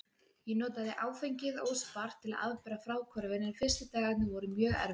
Ég notaði áfengið óspart til að afbera fráhvörfin en fyrstu dagarnir voru mjög erfiðir.